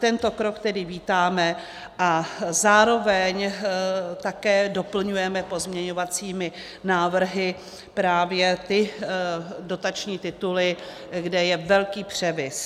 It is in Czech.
Tento krok tedy vítáme a zároveň také doplňujeme pozměňovacími návrhy právě ty dotační tituly, kde je velký převis.